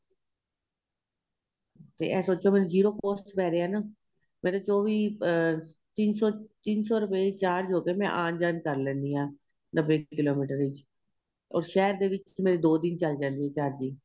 ਤੇ ਏਹ ਸੋਚੋ ਵੀ ਮੈਨੂੰ zero cost ਵਿੱਚ ਪੈ ਗਿਆ ਮੇਰੇ ਚੋਵੀਂ ਅਹ ਤਿੰਨ ਸ਼ੋ ਤਿੰਨ ਸ਼ੋ ਰੁਪਏ ਵਿੱਚ charge ਹੋਕੇ ਮੈਂ ਆਂਣ ਜਾਣ ਕਰ ਲੈਂਣੀ ਹਾਂ ਨੱਬੇ ਕਿਲੋਮੀਟਰ ਚ ਔਰ ਸ਼ਹਿਰ ਦੇ ਵਿੱਚ ਮੇਰੀ ਦੋ ਦਿਨ ਚੱਲ ਜਾਂਦੀ ਏ charging